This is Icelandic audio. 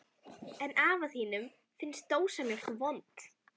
En afa þínum finnst dósamjólk vond.